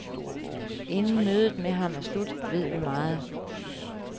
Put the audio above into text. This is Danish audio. Inden mødet med ham er slut, ved vi meget.